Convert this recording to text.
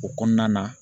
O kɔnɔna na